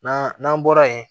N'an n'an bɔra yen